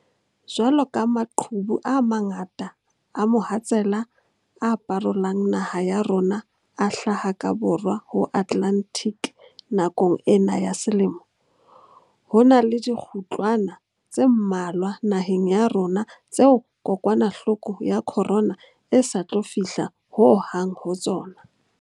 Jwaloka maqhubu a mangata a mohatsela a parolang naha ya rona a hlaha ka Borwa ho Atlantic nakong ena ya selemo, ho na le dikgutlwana tse mmalwa naheng ya rona tseo kokwanahloko ya corona e sa tlo fihla ho hang ho tsona.